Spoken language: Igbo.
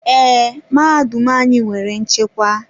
Ee, mahadum anyị nwere nchekwa.